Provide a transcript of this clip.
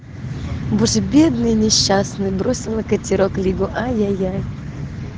боже бедные несчастные бросила катерок лигу ай-яй-яй